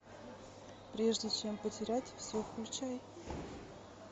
прежде чем потерять все включай